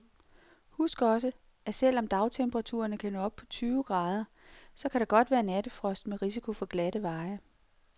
Husk også, at selv om dagtemperaturerne kan nå op på tyve grader, så kan der godt være nattefrost med risiko for glatte veje.